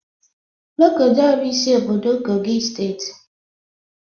Lokoja bụ isi obodo kogi steeti